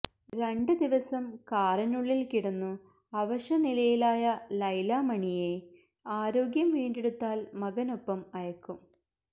രണ്ട് ദിവസം കാറിനുള്ളിൽ കിടന്നു അവശനിലയിലായ ലൈല മണിയെ ആരോഗ്യം വീണ്ടെടുത്താൽ മകനൊപ്പം അയക്കും